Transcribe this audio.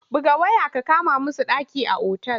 Buga waya ka kama musu ɗaki a otal!